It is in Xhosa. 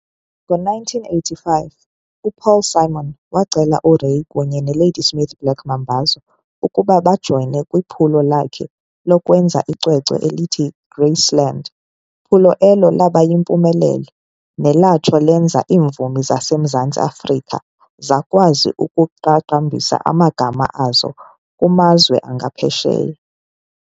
Ngo-1985, uPaul Simon wacela uRay kunye ne Ladysmith Black Mambazo ukuba bajoyine kwiphulo lakhe lokwenza icwecwe elithi Graceland, phulo elo laba yimpumelelo nelatsho lenza iimvumi zaseMzantsi Afrika zakwazi ukuqaqambisa amagama azo kumazwe aphesheya.